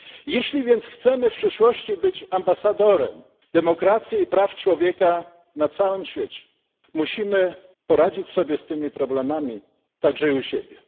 Jeśli więc chcemy w przyszłości być ambasadorem demokracji i praw człowieka na całym świecie, musimy poradzić sobie z tymi problemami także i u siebie.